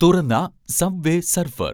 തുറന്ന subway surfer